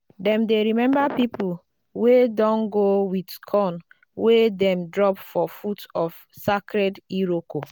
dem dey remember people wey don go with corn wey dem drop for foot of sacred iroko.